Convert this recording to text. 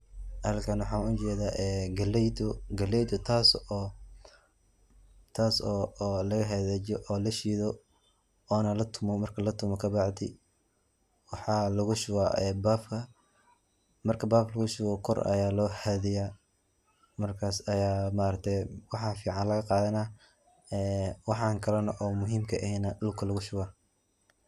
Ani san waxaan u jeeda ee galeydo galeyda taas oo lagahagajiyo oo lashiido oona latumo marki latumo kabacdi waxaa lagushuba ee baafka marki baafka lagushubo kor aya loo haadiya markas aya ma aragte waxaa fican lagaqadana ee waxaan kalana oo muhiimka aheena dhulka lagushubo.